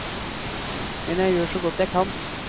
Men jeg gjør så godt jeg kan.